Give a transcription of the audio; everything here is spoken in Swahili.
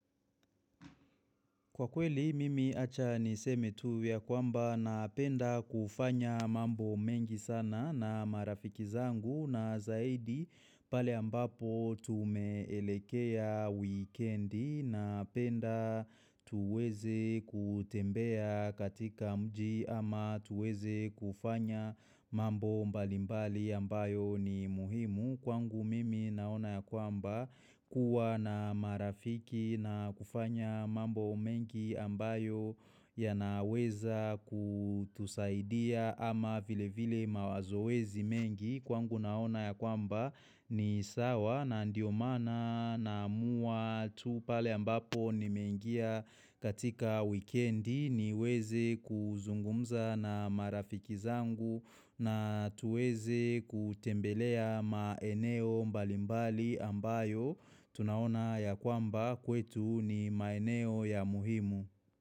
Kwa kweli mimi acha ni seme tu yakwamba napenda kufanya mambo mengi sana na marafiki zangu na zaidi pale ambapo tumeelekea wikendi na penda tuweze kutembea katika mji ama tuweze kufanya mambo mbalimbali ambayo ni muhimu. Kwangu mimi naona ya kwamba kuwa na marafiki na kufanya mambo mengi ambayo yanaweza kutusaidia ama vile vile mawazoezi mengi kwangu naona ya kwamba ni sawa na ndio mana naamua tu pale ambapo nimengia katika wikendi niweze kuzungumza na marafiki zangu na tuweze kutembelea maeneo mbalimbali ambayo tunaona ya kwamba kwetu ni maeneo ya muhimu.